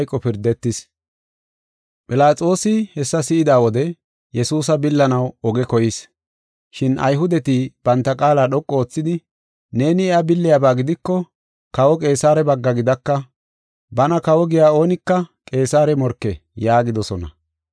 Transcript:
Philaxoosi hessa si7ida wode Yesuusa billanaw oge koyis. Shin Ayhudeti banta qaala dhoqu oothidi, “Neeni iya billiyabaa gidiko Kawa Qeesare bagga gidaka. Bana kawo giya oonika Qeesare morke” yaagidosona.